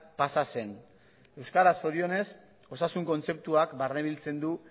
pasa zen euskaraz zorionez osasun kontzeptuak barnebiltzen du